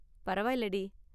பரவாயில்லடி.